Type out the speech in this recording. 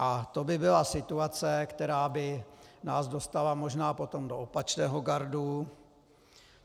A to by byla situace, která by nás dostala možná potom do opačného gardu.